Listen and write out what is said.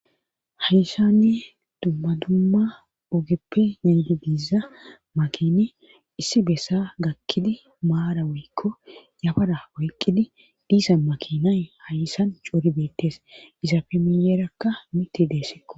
Hayssanne dumma dumma ogeppe niydi biiza makine issi bessa gakkidi maara woykko yafada woyqqidi diisa makinay hayssan coori beettes isafe miyeerakka miti deessikko.